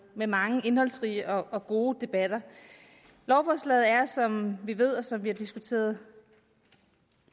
med mange indholdsrige og gode debatter lovforslaget er som vi ved og som vi har diskuteret